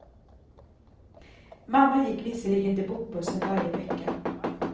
Mamma gick visserligen till bokbussen varje vecka.